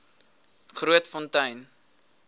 grootfontein